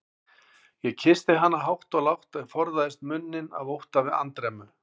Ég kyssti hana hátt og lágt, en forðaðist munninn af ótta við andremmu.